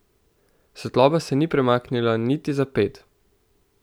Svetloba se ni premaknila niti za ped.